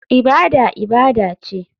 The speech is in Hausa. Ibada ibada ce.